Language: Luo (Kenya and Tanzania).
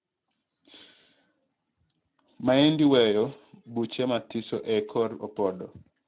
maendi weyo buche mathiso e korr opodo.